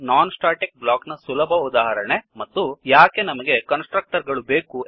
ಎಂದು non static block non static block ನ ಸುಲಭ ಉದಾಹರಣೆ ಮತ್ತು ಯಾಕೆ ನಮಗೆ ಕನ್ಸ್ ಟ್ರಕ್ಟರ್ ಗಳು ಬೇಕು